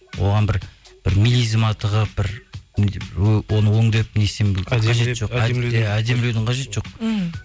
оған бір милизма тығып бір оны өңдеп иә әдемілеудің қажеті жоқ мхм